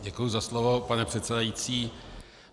Děkuji za slovo, pane předsedající.